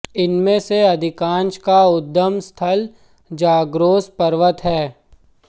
इनमें से अधिकांश का उद्गम स्थल ज़ाग्रोस पर्वत है